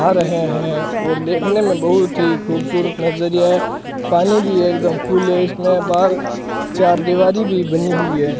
आ रहे हैं और देखने में बहुत ही खूबसूरत नजरीया पानी भी एकदम कूल है इसमें बाहर चारदीवारी भी बनी हुई है।